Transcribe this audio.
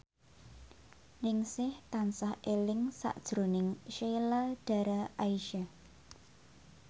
Ningsih tansah eling sakjroning Sheila Dara Aisha